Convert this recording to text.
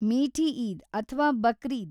ಮೀಠಿ ಈದ್ ಅಥ್ವಾ ಬಕ್ರೀದ್‌?